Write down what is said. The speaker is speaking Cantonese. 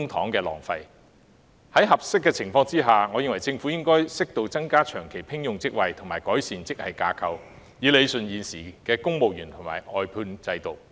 如情況合適的話，我認為政府應適度增加長期聘用職位及改善職系架構，以理順現時公務員的聘用和外判制度。